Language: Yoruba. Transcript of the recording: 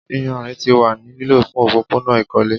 Iyanrin ti wa ni lilo fun opopona ikole